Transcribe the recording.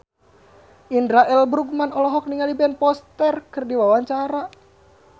Indra L. Bruggman olohok ningali Ben Foster keur diwawancara